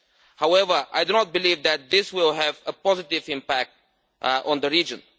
However, I do not believe that this will have a positive impact on the region.